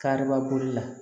Kariba boli la